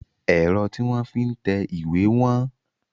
Ẹ̀rọ tí wọ́n fi ń tẹ ìwé wọ́n.